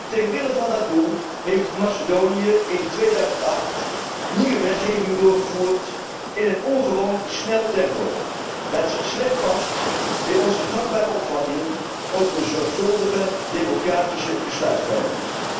Ter wille van dat doel heeft Macedonië in 2008 nieuwe wetgeving doorgevoerd in een ongewoon snel tempo, dat slecht past bij onze gangbare opvattingen over een zorgvuldige democratische besluitvorming.